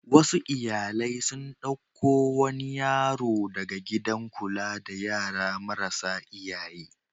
Wasu iyalai sun ɗauko wani yaro daga gidan kula da yara marasa iyaye.